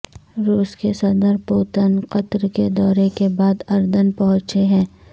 روس کے صدر پوتن قطر کے دورے کے بعد اردن پہنچے ہیں